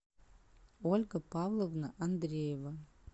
ольга павловна андреева